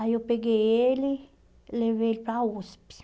Aí eu peguei ele, levei ele para a USP.